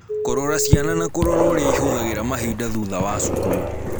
Kũrora ciana na kũrora ũrĩa ihũthagĩra mahinda thutha wa cukuru.